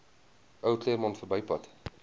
ou claremont verbypad